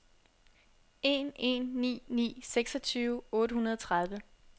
en en ni ni seksogtyve otte hundrede og tredive